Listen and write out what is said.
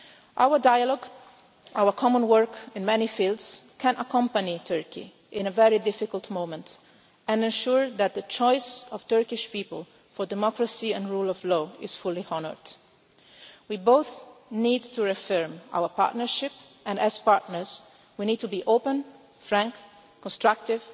Our dialogue, our common work in many fields, can support Turkey at a very difficult moment, and ensure that the choice of the Turkish people in favour of democracy and the rule of law is fully honoured. We both need to reaffirm our partnership, and as partners we need to be open, frank, constructive,